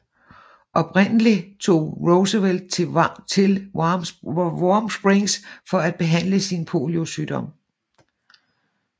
Oprindelig tog Roosevelt til Warm Springs for at behandle sin poliosygdom